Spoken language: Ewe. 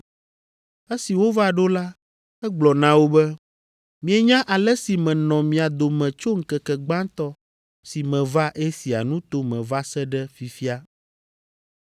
Esi wova ɖo la, egblɔ na wo be, “Mienya ale si menɔ mia dome tso ŋkeke gbãtɔ si meva Asia nuto me va se ɖe fifia.